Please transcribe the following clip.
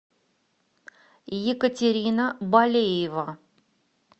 екатерина балеева